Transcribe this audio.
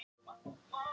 Ég var ekki ein.